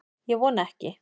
Ég vona ekki